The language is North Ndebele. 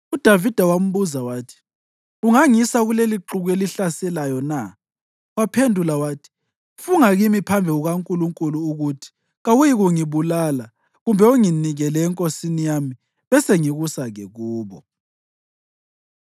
UDavida wambuza wathi, “Ungangisa kulelixuku elihlaselayo na?” Waphendula wathi, “Funga kimi phambi kukaNkulunkulu ukuthi kawuyikungibulala kumbe unginikele enkosini yami, besengikusa-ke kubo.”